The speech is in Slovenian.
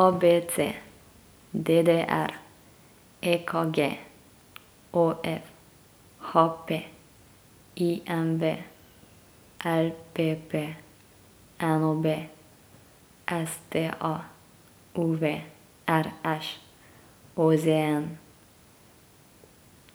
A B C; D D R; E K G; O F; H P; I M V; L P P; N O B; S T A; U V; R Š; O Z N;